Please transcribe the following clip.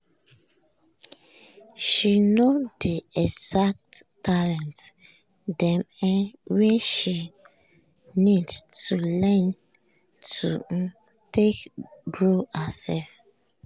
she know the exact talent dem um wey she need to learn to um take grow herself.